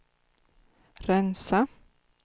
rensa